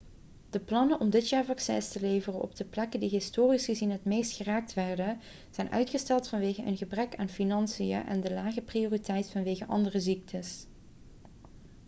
de plannen om dit jaar vaccins te leveren op de plekken die historisch gezien het meest geraakt werden zijn uitgesteld vanwege een gebrek aan financiën en de lage prioriteit vanwege andere ziektes